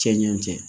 Cɛ ɲɛ cɛ